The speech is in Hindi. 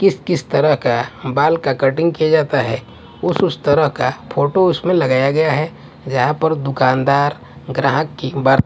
किस किस तरह का बाल का कटिंग किया जाता है उस उस तरह का फोटो उसमें लगाया गया है जहां पर दुकानदार ग्राहक की ब--